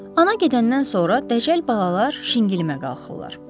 Ana gedəndən sonra dəcəl balalar şingilimə qalxırlar.